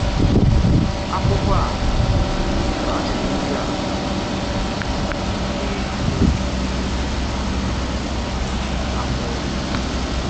Akwụkwọ a zàrà ajụjụ ndị a na-ejù um afọ.